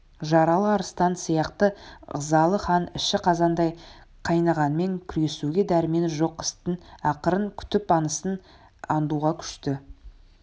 жаралы арыстан сияқты ызалы хан іші қазандай қайнағанмен күресуге дәрмені жоқ істің ақырын күтіп аңысын аңдуға көшті